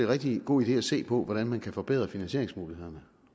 rigtig god idé at se på hvordan man kan forbedre finansieringsmulighederne